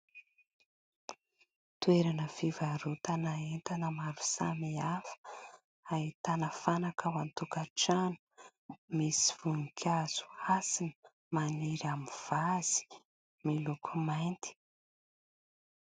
Toerana fivarotana entana maro samihafa, ahitana fanaka ao an-tokatrano ; misy voninkazo hasina maniry amin'ny vazy miloko mainty.